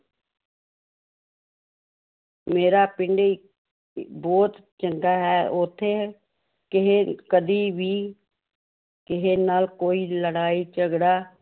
ਮੇਰਾ ਪਿੰਡ ਬਹੁਤ ਚੰਗਾ ਹੈ ਉੱਥੇ ਕਿਸੇ ਕਦੀ ਵੀ ਕਿਸੇ ਨਾਲ ਕੋਈ ਲੜਾਈ ਝਗੜਾ